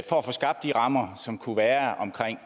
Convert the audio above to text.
få skabt de rammer som kunne være omkring